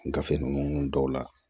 Gafe ninnu dɔw la